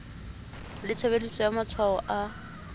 le tshebediso ya matshwao a